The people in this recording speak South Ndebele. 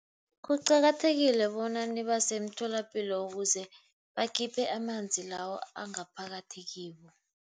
Kuqakathekile bona nibase emtholapilo ukuze bakhiphe amanzi lawo angaphakathi kibo.